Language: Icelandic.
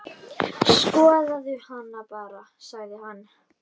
Skoðaðu hana bara, sagði hann.